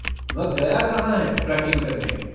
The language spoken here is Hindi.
वह गया कहाँ है ट्रेकिंग करने?